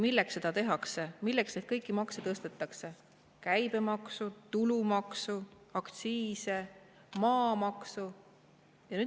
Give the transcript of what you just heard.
Milleks seda tehakse, milleks kõiki neid makse tõstetakse: käibemaksu, tulumaksu, aktsiise, maamaksu?